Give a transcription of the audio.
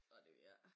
Ej det ved jeg ik